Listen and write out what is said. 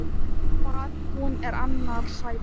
Hvað hún er annars sæt!